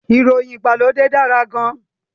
Ìfọyín ìgbàlódé dára gan-an